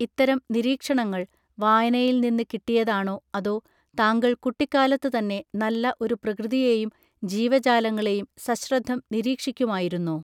ഇത്തരം നിരീക്ഷണങ്ങൾ വായനയിൽ നിന്ന് കിട്ടിയതാണോ അതൊ താങ്കൾ കുട്ടിക്കാലത്തു തന്നെ നല്ല ഒരു പ്രകൃതിയേയും ജീവജാലങ്ങളേയും സശ്രദ്ധം നിരീക്ഷിക്കുമായിരുന്നോ